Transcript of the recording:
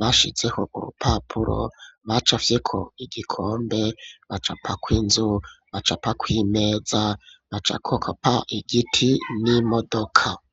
bashizeho urupapuro bacafyeko igikombe, bacapako inzu ,bacapako imeza ,bacakopa igiti n'imodoka.